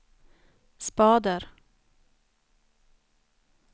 spader